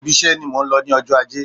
Ibi iṣe ni mò ń lọ ní ọjọ́ ajé.